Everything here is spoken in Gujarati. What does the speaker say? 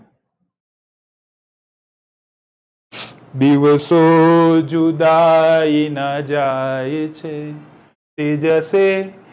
દિવસો જુદાઈ નાં જાય છ તે જશે